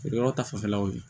Feere yɔrɔ ta fanfɛlaw ye